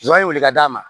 Jɔn ye welekan d'a ma